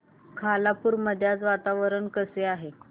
खालापूर मध्ये आज वातावरण कसे आहे